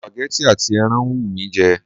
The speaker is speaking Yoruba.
Supagẹ́tì àti ẹran ń wù mí jẹ.